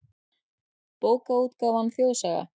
Bókaútgáfan Þjóðsaga.